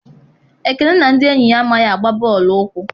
Ekene na ndị enyi ya amaghị agba bọọlụ ụkwụ.